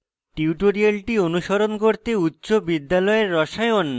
tutorial অনুসরণ করতে